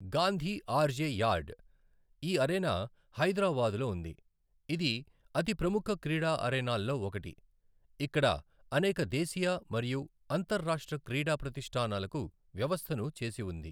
గాంధీ ఆర్జె యార్డ్ ఈ అరేనా హైదరాబాదులో ఉంది. ఇది అతి ప్రముఖ క్రీడా అరేనాల్లో ఒకటి. ఇక్కడ అనేక దేశీయ మరియు అంతర రాష్ట్ర క్రీడా ప్రతిష్టానాలకు వ్యవస్థను చేసి ఉంది.